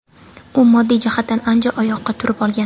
U moddiy jihatdan ancha oyoqqa turib olgan.